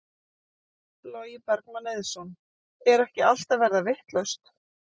Logi Bergmann Eiðsson: Er ekki allt að verða vitlaust?